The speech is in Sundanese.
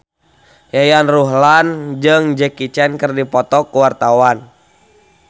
Yayan Ruhlan jeung Jackie Chan keur dipoto ku wartawan